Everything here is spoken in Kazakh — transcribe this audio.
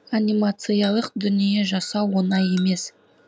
анимациялық дүние жасау оңай емес